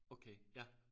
Okay ja